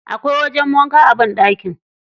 Akwai wajen wanka a banɗaki.